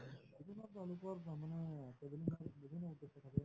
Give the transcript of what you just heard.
তেওঁলোকৰ বিভিন্ন থাকে